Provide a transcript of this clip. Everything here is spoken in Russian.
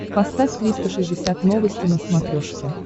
поставь триста шестьдесят новости на смотрешке